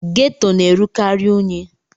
Geto na-erukari unyi.